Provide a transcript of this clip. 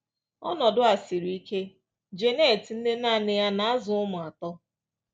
Ọnọdụ a siri ike. Janet, nne nanị ya na-azụ ụmụ atọ